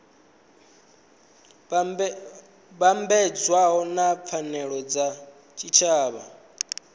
vhambedzwa na pfanelo dza tshitshavha